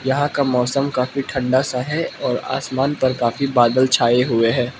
यहां का मौसम काफी ठंडा सा है और आसमान पर काफी बादल छाए हुए हैं।